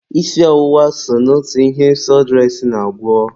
Isi ọwụwa so n'otu ihe sọdụres na-agwọ.